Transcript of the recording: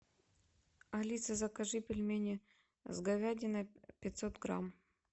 алиса закажи пельмени с говядиной пятьсот грамм